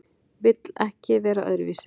Vill ekki vera öðruvísi.